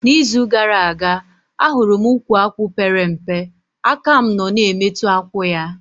Na izu gara aga, ahụrụ m ukwu akwụ pere mpe, aka mụ nọ na emetụ akwụ ya